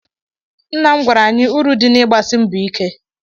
Nna m gwara anyị uru dị n'ịgbasi mbọ ike